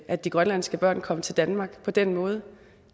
at de grønlandske børn kom til danmark på den måde